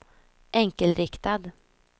enkelriktad